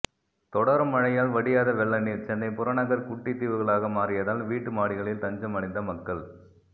தொடரும் மழையால் வடியாத வெள்ள நீர் சென்னை புறநகர் குட்டி தீவுகளாக மாறியதால் வீட்டு மாடிகளில் தஞ்சம் அடைந்த மக்கள்